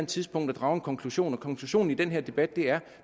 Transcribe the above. tidspunkt at drage en konklusion og konklusionen i den her debat er